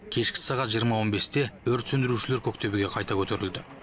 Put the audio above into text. кешкі сағат жиырма он бесте өрт сөндірушілер көк төбеге қайта көтерілді